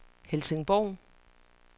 Helsingborg